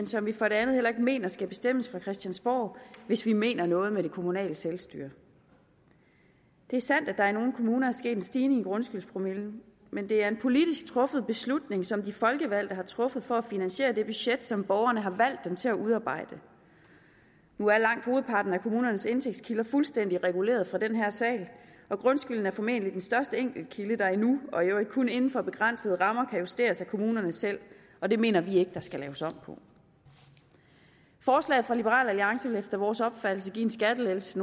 som vi for det andet heller ikke mener skal bestemmes fra christiansborg hvis vi mener noget med det kommunale selvstyre det er sandt at der i nogle kommuner er sket en stigning i grundskyldspromillen men det er en politisk truffet beslutning som de folkevalgte har truffet for at finansiere det budget som borgerne har valgt dem til at udarbejde nu er langt hovedparten af kommunernes indtægtskilder fuldstændig reguleret fra den her sal og grundskylden er formentlig den største enkelt kilde der endnu og i øvrigt kun inden for begrænsede rammer kan justeres af kommunerne selv og det mener vi ikke der skal laves om på forslaget fra liberal alliance vil efter vores opfattelse give en skattelettelse